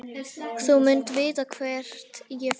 Þú munt vita hvert ég fer.